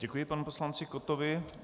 Děkuji panu poslanci Kottovi.